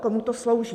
Komu to slouží?